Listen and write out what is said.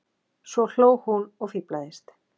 Svo hló hún og fíflaðist.